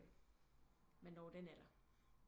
Man når den alder